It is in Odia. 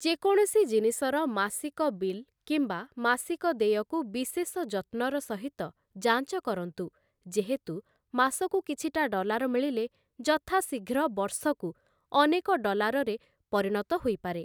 ଯେକୌଣସି ଜିନିଷର ମାସିକ ବିଲ୍ କିମ୍ବା ମାସିକ ଦେୟକୁ ବିଶେଷ ଯତ୍ନର ସହିତ ଯାଞ୍ଚ କରନ୍ତୁ, ଯେହେତୁ ମାସକୁ କିଛିଟା ଡଲାର ମିଳିଲେ, ଯଥାଶୀଘ୍ର ବର୍ଷକୁ ଅନେକ ଡଲାରରେ ପରିଣତ ହୋଇପାରେ ।